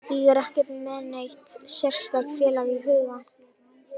Ég er ekkert með neitt sérstakt félag í huga.